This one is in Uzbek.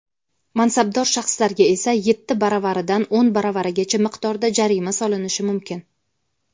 mansabdor shaxslarga esa — yetti baravaridan oʼn baravarigacha miqdorda jarima solinishi mumkin.